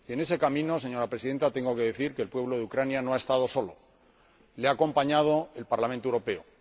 Y en ese camino, señora Presidenta, tengo que decir que el pueblo de Ucrania no ha estado solo, le ha acompañado el Parlamento Europeo.